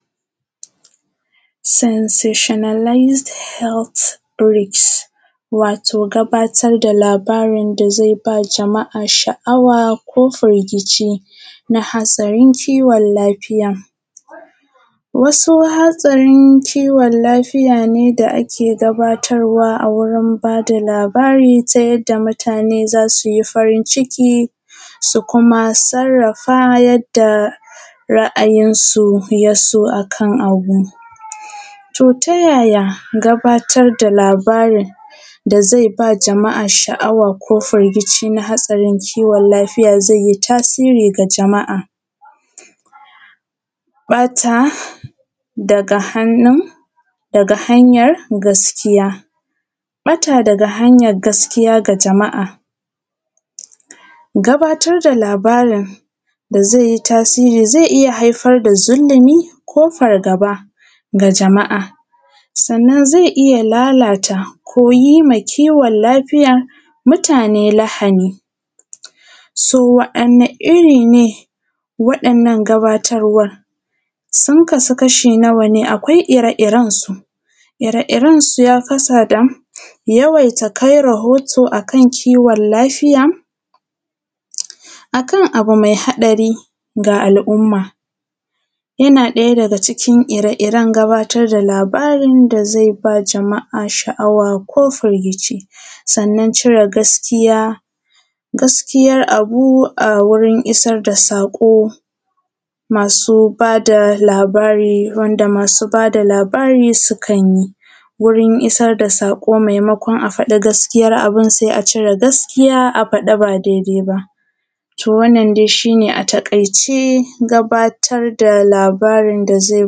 . Censocianalised health risk, wato gabatar da labarin da zai ba jama`a sha`awa ko firgici na hatsarin kiwon lafiya, wasu hatsarin kiwon lafiya ne da ake gabatarwa a wurin ba da labari ta yadda mutane zasu yi farin ciki su kuma sarrafa yadda ra`ayin su ya so akan abu, to yaya gabatar da labarin da zai ba jama`a sha`awa ko firgici na hatsarin kiwon lafiya zai yi tasiri ga jama`a, ɓata daga hannun, daga hanyar gaskiya, ɓata daga hanyar gaskiya ga jama`a, gabatar da labarin da zai yi tasiri zai iya haifar da zullumi ko fargaba ga jama`a, sannan zai iya lalata ko yima kiwon lafiya mutane lahani so waɗanni iri ne waɗannan gabatarwan? sun kasu kasha nawa ne akwai ire irensu, ire irensu ya kasa da yawaita kai rahoto akan ciwon lafiya, akan abu mai haɗari ga al`umma yana ɗaya daga ciki ire iren gabatar da labarin da zai ba jama`a sha`awa ko firgici, sannan cire gaskiya, gaskiyar abu a wurin isar da sako masu ba da labara wanda masu ba da labarin sukan yi wurin isar da sako maimakon a faɗa gaskiyar abu sai a cire gaskiya a faɗa ba dai dai ba, to wannan dai shi ne a taƙaice gabatar da labarin da zai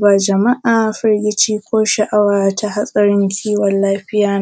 ba jama`a firgici ko sha`awa ta hatsarin ciwon lafiya